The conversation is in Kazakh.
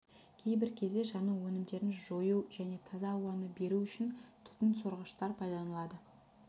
кейбір кезде жану өнімдерін жою және таза ауаны беру үшін түтін сорғыштар пайдаланылады